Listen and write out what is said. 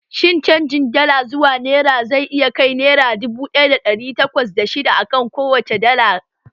Shin canjin Dala zuwa nera zai iya kai naira dubu ɗaya da ɗari takwas da shidda akan kowacce dala?